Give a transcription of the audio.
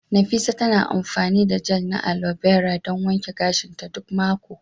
Nafisah tana amfani da gel na alobera don wanke gashinta duk mako.